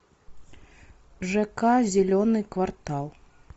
жк зеленый квартал